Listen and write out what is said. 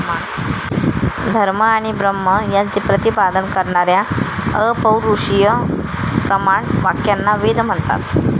धर्म आणि ब्रह्म यांचे प्रतिपादन करणाऱ्या अपौरुषीय प्रमाण वाक्यांना वेद म्हणतात.